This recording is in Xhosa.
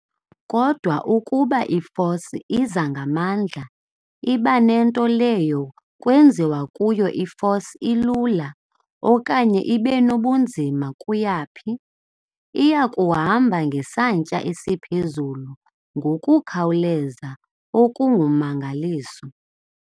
kodwa ukuba i-force iza ngamandla ibe nento leyo kwenziwa kuyo i-force ilula okanye ingenabunzima kuyaphi, iyakuhamba ngesantya esiphezulu ngokukhawuleza okungummangaliso.